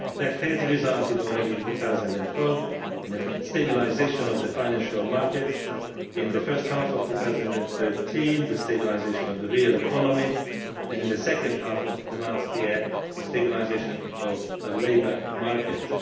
This already resulted in 2012 in the stabilisation of the financial markets, in the first half of 2013 in the stabilisation of the real economy and, in the second half of last year, in the stabilisation of the labour markets.